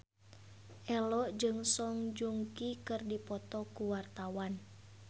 Ello jeung Song Joong Ki keur dipoto ku wartawan